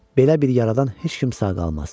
Belə bir yaradan heç kim sağ qalmaz.